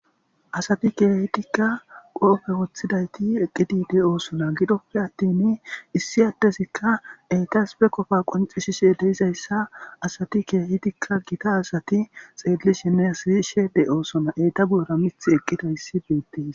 Asati keehidikka qoobe wotidaytti de7osona. Giddoppe attin issi addezi entas issi qofa qonccisishe de7izayssa asati keehidika gita asay xeelishinne si7ishe de7oosona. Eeta goyera miththi eqqidayssi beetees.